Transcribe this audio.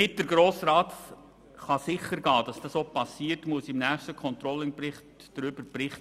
Damit der Grosse Rat sichergehen kann, dass dies auch geschieht, muss der nächste Controlling-Bericht auch darüber berichten.